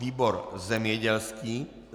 Výbor zemědělský.